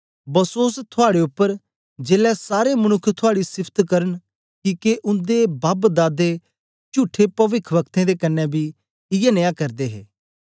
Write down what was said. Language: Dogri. बसोस थुआड़े उपर जेलै सारे मनुक्ख थुआड़ी सिफत करन किके उन्दे बापदादे चुठे पविख्ब्कतें दे कन्ने बी इयै नियां करदे हे